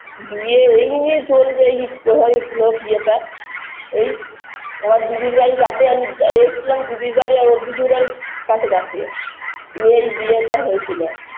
বিয়ে এই নিয়ে চলছে এইপ হয়েছিল বিয়েটা এই আমার দিদির বাড়ির কাছে আমি এসছিলাম দিদির বাড়ি আর ওর দিদির বাড়ি কাছাকাছি নিয়ে এই বিয়েটা হইছিল